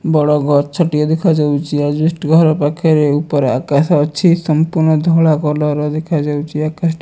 ବଡ଼ ଗଛଟିଏ ଦେଖାଯାଉଚି ଆଜବେଷ୍ଟ୍ ଘର ପାଖରେ ଉପରେ ଆକାଶ ଅଛି ସମ୍ପୃର୍ଣ୍ଣ ଧଳା କଲରର ଦେଖାଯାଉଚି ଆକାଶଟି।